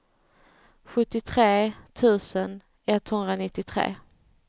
sjuttiotre tusen etthundranittiotre